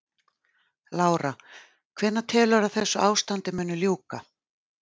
Lára: Hvenær telurðu að þessu ástandi muni ljúka?